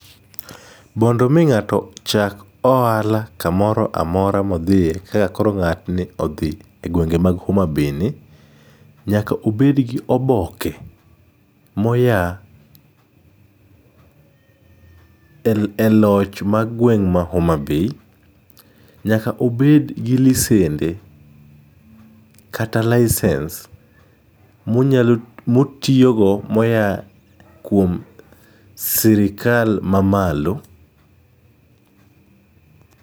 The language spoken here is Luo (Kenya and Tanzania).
Mondo mi ng'ato chak ohala kamoro amora mo odhie kaka koro ng'atni odhii egwenge mag homabayni, nyaka obedgi oboke moya eloch magweng' ma homabay. Nyaka obedgi lisende kata license monyalo motiyogo moyaa kuom sirikal mamalo.